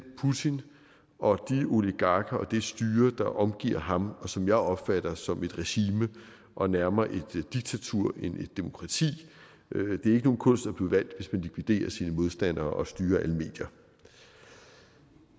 putin og de oligarker og det styre der omgiver ham og som jeg opfatter som et regime og nærmere et diktatur end et demokrati det er ikke nogen kunst at blive valgt hvis man likviderer sine modstandere og styrer alle medier